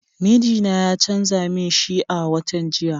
Mijina ya canza min shi a watan jiya.